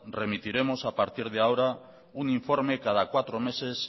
remitiremos a partir de ahora un informe cada cuatro meses